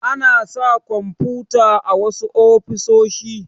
Ana sa kwamfuta a wasu ofisoshi.